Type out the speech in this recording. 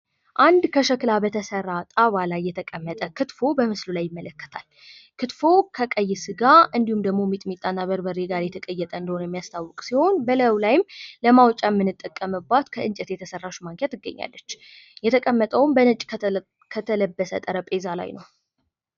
አንድ ከሸክላ በተሰራ ጣባ ላይ የተቀመጠ ክትፎ በምስሉ ላይ ይመለከታል ፤ ክትፎው ከቀይ ስጋ እንዲሁም ከበርበሬና ሚጥሚጣ ጋር የተቀየጠ እንደሆነ የሚያስታውቅ ሲሆን በላዩ ላይም ለማውጣት የምንጠቀምበት ከእንጨት የተሰራች ማንኪያ ትገኛለች። የተቀመጠውም በነጭ ከተለበሰ ጠረጴዛ ላይ ነው።